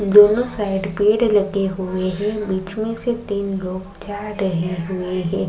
दोनो साइड पेड लगे हुए है नीचे से तीन लोग जा रहे हुए है।